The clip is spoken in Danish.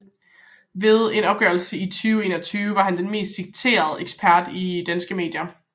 Ved en opgørelse i 2021 var han den mest citerede ekspert i danske medier